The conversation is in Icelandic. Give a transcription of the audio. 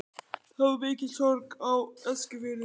Það varð mikil sorg á Eskifirði.